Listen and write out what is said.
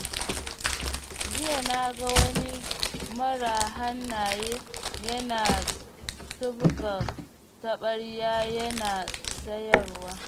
Jiya na ga wani mara hannaye yana tubka tabarya yana sayarwa.